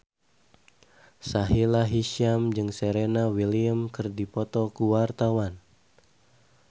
Sahila Hisyam jeung Serena Williams keur dipoto ku wartawan